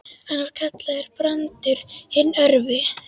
Hann var kallaður Brandur hinn örvi.